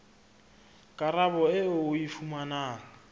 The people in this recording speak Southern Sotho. karabo eo o e fumanang